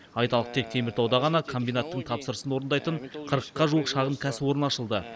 айталық тек теміртауда ғана комбинаттың тапсырысын орындайтын қырыққа жуық шағын кәсіпорын ашылды